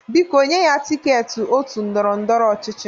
Biko nye ya tịketị otu ndọrọ ndọrọ ọchịchị!